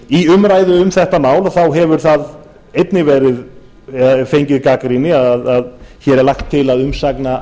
í umræðu um þetta mál hefur það einnig fengið gagnrýni að hér er lagt til að umsagna